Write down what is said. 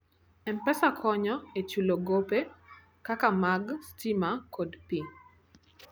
M-Pesa konyo e chulo gope kaka mag stima kod pi.